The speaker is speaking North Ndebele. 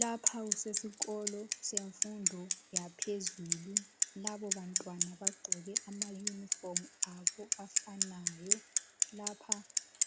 Lapha kusesikolo semfundo yaphezulu. Labo bantwana bagqoke amayunifomu abo afanayo lapha